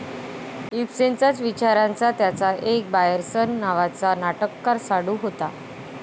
इबसेनचाच विचारांचा त्यांचा एक बायरसन नावाचा नाटककार साडू होता.